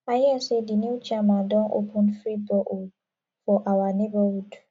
i hear say the new chairman don open free borehole for awa neighborhood